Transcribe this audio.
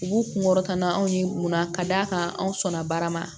U b'u kunkɔrɔta na anw ni munna ka d'a kan anw sɔnna baara ma